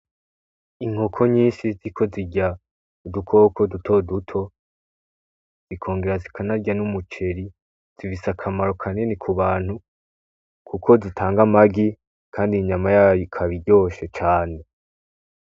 Inkoko nyinshi ziriko zirya udukoko dutoduto ,zikongera zikanarya n’umuceri, zifise akamaro kanini ku bantu Kuko zitanga amagi kandi inyama yazo ikaba iryoshe cane .